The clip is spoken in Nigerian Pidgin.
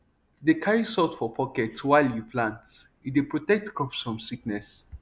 dey carry salt for pocket while you plant e dey protect crops from sickness